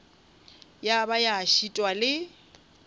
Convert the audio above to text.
ya ba ya šitwa le